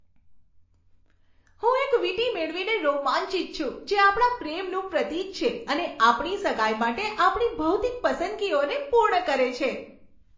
હું એક વીંટી મેળવીને રોમાંચિત છું, જે આપણા પ્રેમનું પ્રતીક છે અને આપણી સગાઈ માટે આપણી ભૌતિક પસંદગીઓને પૂર્ણ કરે છે.